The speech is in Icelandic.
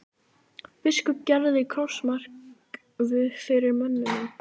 Biskup gerði krossmark fyrir mönnunum.